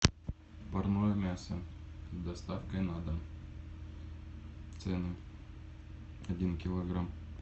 парное мясо с доставкой на дом цены один килограмм